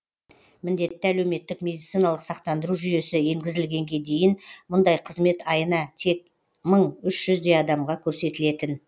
міндетті әлеуметтік медициналық сақтандыру жүйесі енгізілгенге дейін мұндай қызмет айына тек мың үш жүздей адамға көрсетілетін